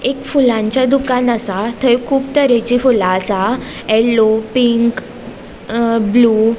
एक फुलांचे दुकान आसा थय कुब तरेचि फूला आसा येल्लो पिंक अ ब्लू .